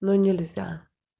но нельзя